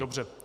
Dobře.